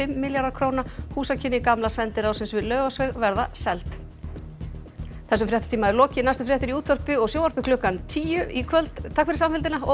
milljarðar króna húsakynni gamla sendiráðsins við Laufásveg verða seld þessum fréttatíma er lokið næstu fréttir eru í útvarpi og sjónvarpi klukkan tíu í kvöld takk fyrir samfylgdina og